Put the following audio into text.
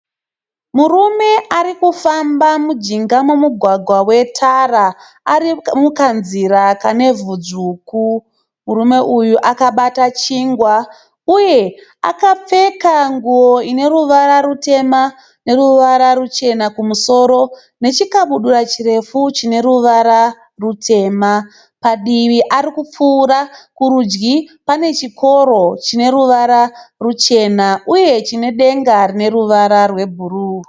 Murume ari kufamba mujinga memugwagwa wetara ari mukanzira kane vhu dzvuku. Murume uyu akabata chingwa uye akapfeka nguwo ine ruvara rutema neruvara ruchena kumusoro nechikabudura chirefu chine ruvara rutema. Padivi arikupfuura. Kurudyi pane chikoro chine ruvara ruchena uye chine denga rine ruvara rwebhuruu.